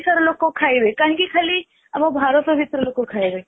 ଓଡିଶା ର ଲୋକ ଖାଇବେ କାହିଁକି ଖାଲି ଆମ ଭାରତ ଭିତର ଲୋକ ଖାଇବେ